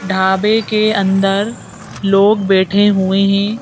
ढाबे के अंदर लोग बैठे हुए हैं।